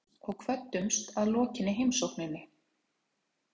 Við reyktum pípuna og kvöddumst að lokinni heimsókninni.